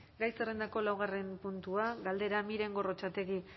gai zerrendako laugarren puntua galdera miren gorrotxategi